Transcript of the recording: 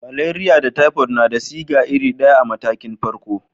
Maleriya da taifot na da siga iri daya a matakin farko.